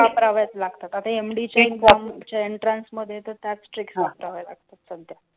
Trick व्यप्रयवाच लागतात, आता MD चा एंट्रान्स मध्ये तर वापऱ्याव लागतात.